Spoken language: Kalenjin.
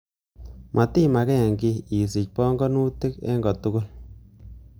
Motima ken kiy, isich pong'onutik en kotugul.